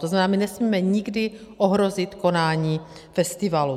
To znamená, my nesmíme nikdy ohrozit konání festivalu.